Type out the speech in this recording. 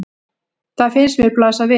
Það finnst mér blasa við.